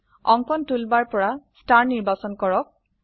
অঙ্কন টুলবাৰ পৰা স্তাৰ নিৰ্বাচন কৰক